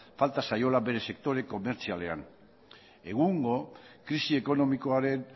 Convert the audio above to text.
falta zaiola bere sektore komertzialean egungo krisi ekonomikoaren